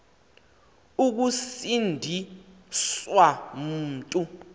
ukusindi swa mntu